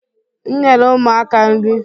m nyere ụmụaka nri